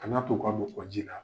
An ŋ'a to u ka do kɔ ji la.